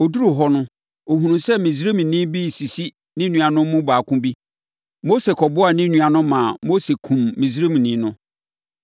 Ɔduruu hɔ no, ɔhunuu sɛ Misraimni bi resisi ne nuanom mu baako bi. Mose kɔboaa ne nua no ma Mose kumm Misraimni no.